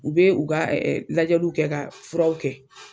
U bɛ u ka lajɛliw kɛ ka furaw kɛ.